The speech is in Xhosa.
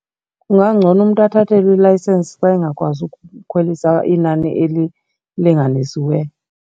Kungangcono umntu athathelwe ilayisensi xa engakwazi ukukhwelisa inani elilinganisiweyo.